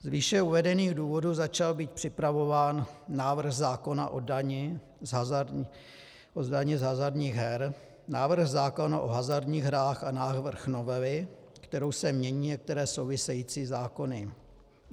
"Z výše uvedených důvodů začal být připravován návrh zákona o dani z hazardních her, návrh zákona o hazardních hrách a návrh novely, kterou se mění některé související zákony.